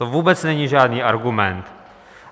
To vůbec není žádný argument.